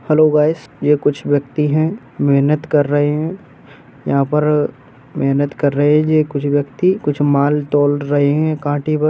Hello guys ये कुछ व्यक्ति हैं। मेहनत कर रहे हैं। यहाँ पर मेहनत कर रहे जे कुछ व्यक्ति कुछ माल तोल रहे है कांटे पर।